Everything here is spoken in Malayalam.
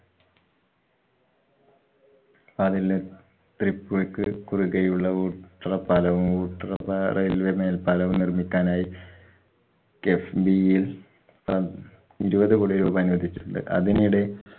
ത്രിപ്പൂര്‍ക്ക് കുറുകെയുള്ള ഊട്ടറ പ്പാലവും ഊട്ടറപ്പാലയിലെ മേല്‍പ്പാലവും നിര്‍മ്മിക്കാനായി KIIFB യില്‍ പ~ ഇരുപത് കോടി രൂപ അനുവദിച്ചിട്ടുണ്ട്. അതിനിടെ